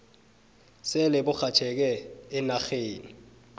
sele burhatjheke eenarheni